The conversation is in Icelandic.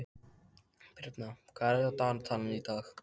Birna, hvað er á dagatalinu í dag?